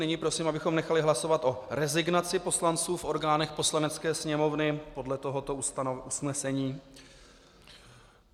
Nyní prosím, abychom nechali hlasovat o rezignaci poslanců v orgánech Poslanecké sněmovny podle tohoto usnesení.